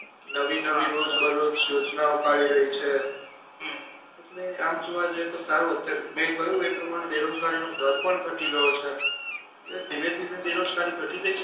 નવી નવી રોજ બરોજ યોજનાઓ કાઢી રહી છે હમ એટલે આમ જોવા જઈએ તો સાવ અત્યારે મે કીધુ એ પ્રમાણે બેરોજગારી નો દર પણ ઘટી રહ્યો છે એટલે ધીરે ધીરે બેરોજગારી ઘટી રહી છે